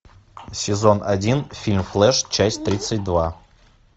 сезон один фильм флэш часть тридцать два